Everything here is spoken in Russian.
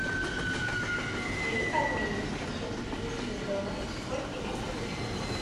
при обмене пяти австралийских долларов сколько я получу